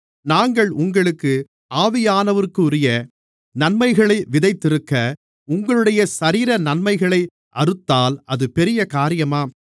நாங்கள் உங்களுக்கு ஆவியானவருக்குரிய நன்மைகளை விதைத்திருக்க உங்களுடைய சரீர நன்மைகளை அறுத்தால் அது பெரிய காரியமா